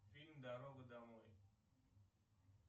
фильм дорога домой